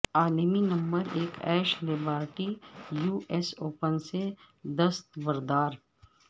عالمی نمبر ایک Ashleigh Barty U S Open سے دستبردار